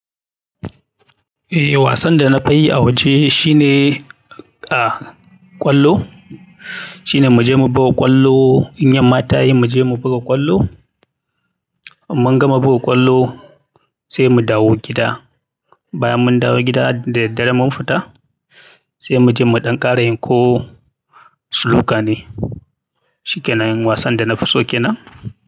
Eh wasan da na fi yi a waje shine, ah, ƙwallo. Shine mu je mu buga ƙwallo, in yamma ta yi mu je mu buga ƙwallo. Mun gama buga ƙwallo sai mu dawo gida. Bayan mun dawo gida da daddare mun fita sai mu je mu ɗan ƙara yin ko suluka ne. Shikkenan wasan danafiso kenan.